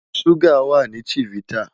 Suga wa ni chivita